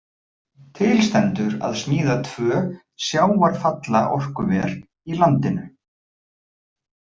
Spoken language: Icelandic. Til stendur að smíða tvö sjávarfallaorkuver í landinu.